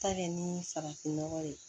Ta kɛ ni farafin nɔgɔ ye